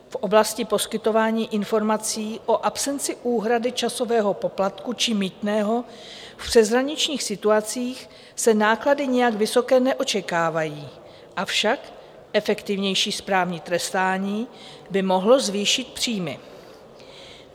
V oblasti poskytování informací o absenci úhrady časového poplatku či mýtného v přeshraničních situacích se náklady nijak vysoké neočekávají, avšak efektivnější správní trestání by mohlo zvýšit příjmy.